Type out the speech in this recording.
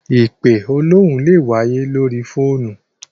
Ìpe olóhùn lè wáyé lóri fóònù.